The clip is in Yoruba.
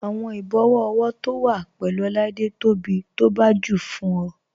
Awọn ìbòwọ ọwọ to wa pẹ̀lú Oláídé tó bí tó bá jù fún ọ.